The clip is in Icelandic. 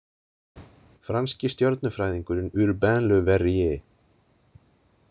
Franski stjörnufræðingurinn Urbain Le Verrier.